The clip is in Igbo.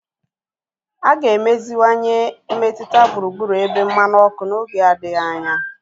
A ga-emeziwanye mmetụta gburugburu ebe mmanụ ọkụ n'oge adịghị anya.